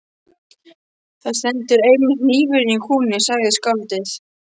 Þar stendur einmitt hnífurinn í kúnni, sagði skáldið.